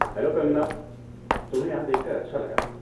Hello Kangkana, تمہیں یہاں دیکھ کر اچھا لگا۔